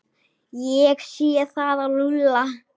Ég sé það á Lúlla.